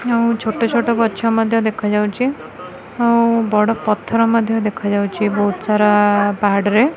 ଆଉ ଛୋଟ ଛୋଟ ଗଛ ମଧ୍ୟ ଦେଖାଯାଉଛି ଆଉ ବଡ଼ ପଥର ମଧ୍ୟ ଦେଖାଯାଉଛି ବହୁତ ସାରା ପାହାଡ଼ରେ।